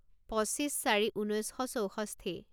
পঁচিছ চাৰি ঊনৈছ শ চৌষষ্ঠি